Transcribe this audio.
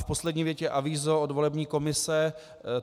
V poslední větě avízo od volební komise.